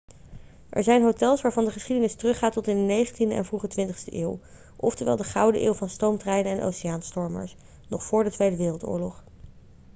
er zijn hotels waarvan de geschiedenis teruggaat tot in de 19e en vroege 20ste eeuw oftewel de gouden eeuw van stoomtreinen en oceaanstomers nog voor de woii